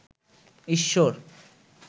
ঈশ্বর